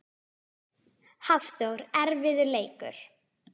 Hafþór: Erfiður leikur?